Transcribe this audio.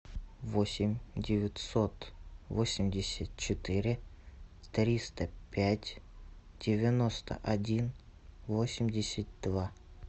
восемь девятьсот восемьдесят четыре триста пять девяносто один восемьдесят два